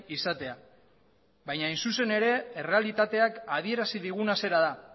izatea baina hain zuzen ere errealitateak adierazi diguna zera da